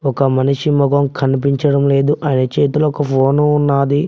ఒక మనిషి ముఖం కనిపించడం లేదు ఆయన చేతిలో ఒక ఫోను ఉన్నది.